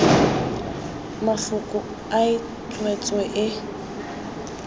mafoko a e tswetswe e